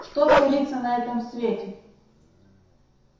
что творится на этом свете